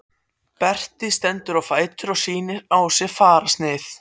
Berti stendur á fætur og sýnir á sér fararsnið.